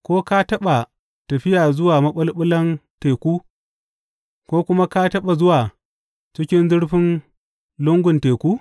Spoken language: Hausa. Ko ka taɓa tafiya zuwa maɓulɓulan teku, ko kuma ka taɓa zuwa cikin zurfin lungun teku?